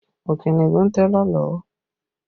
Okinni gún télọ̀ lọ́wọ́